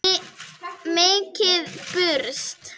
Mikið burst.